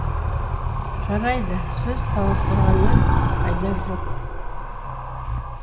жарайды сөз таластырғаннан пайда жоқ